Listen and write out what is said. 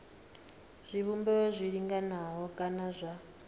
zwivhumbeo zwi linganaho kana zwa